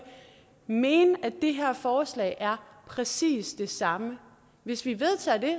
mene at det her forslag er præcis det samme hvis vi vedtager det